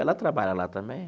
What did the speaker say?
Ela trabalha lá também.